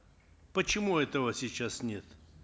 почему этого сейчас нет